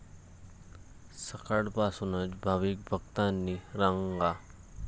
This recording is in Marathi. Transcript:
सकाळपासूनच भाविक भक्तांनी रांगा.